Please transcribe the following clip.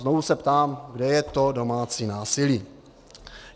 Znovu se ptám, kde je to domácí násilí.